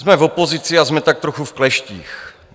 Jsme v opozici a jsme tak trochu v kleštích.